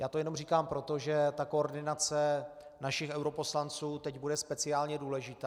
Já to jenom říkám proto, že ta koordinace našich europoslanců teď bude speciálně důležitá.